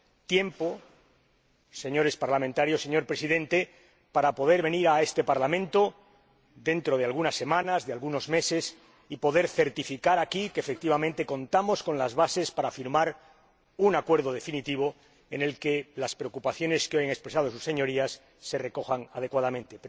tiempo, señores diputados, señor Presidente, para poder venir a este Parlamento dentro de algunas semanas, de algunos meses, y poder certificar aquí que, efectivamente, contamos con las bases para firmar un Acuerdo definitivo en el que las preocupaciones que hoy han expresado sus Señorías se recojan adecuadamente.